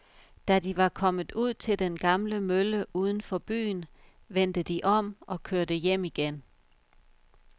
Da de var kommet ud til den gamle mølle uden for byen, vendte de om og kørte hjem igen.